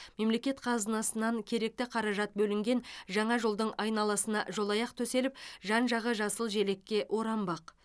мемлекет қазынасынан керекті қаражат бөлінген жаңа жолдың айналасына жолаяқ төселіп жан жағы жасыл желекке оранбақ